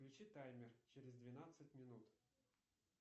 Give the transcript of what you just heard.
включи таймер через двенадцать минут